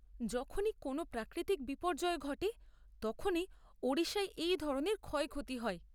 যখনই কোনও প্রাকৃতিক বিপর্যয় ঘটে তখনই ওড়িশায় এই ধরনের ক্ষয়ক্ষতি হয়।